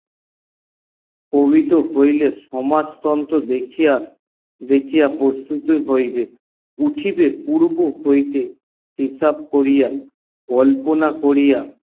প্রকিত হইলে সমাজ মূলত সমাজতন্ত্র দেখিয়া প্রস্তুতি হইবে উঠিবে পর্ব হইতে হিসাব করিয়া কল্পনা করিয়া